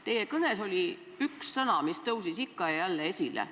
Teie kõnes oli üks sõna, mis tõusis ikka ja jälle esile.